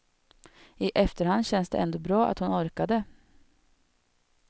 I efterhand känns det ändå bra att hon orkade.